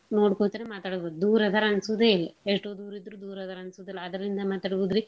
ನೋಡ್ಕೋತನ ಮಾತ್ ಆಡ್ಬೋದು ದೂರ್ ಅದಾರ್ ಅನ್ಸೂದೆ ಇಲ್ಲಾ. ಎಸ್ಟೋ ದೂರಿದ್ರು ದೂರ್ ಅದಾರ್ ಅನ್ಸೋದಿಲ್ಲಾ ಅದ್ರಿಂದ ಮಾತಾಡ್ಬೋದ್ರೀ.